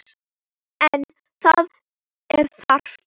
En það er þarft.